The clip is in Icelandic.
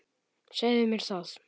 Segðu mér það.